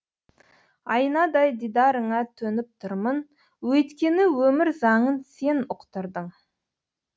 айнадай дидарыңа төніп тұрмын өйткені өмір заңын сен ұқтырдың